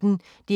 DR P1